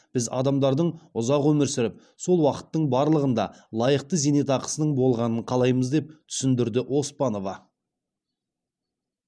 біз адамдардың ұзақ өмір сүріп сол уақыттың барлығында лайықты зейнетақысының болғанын қалаймыз деп түсіндірді оспанова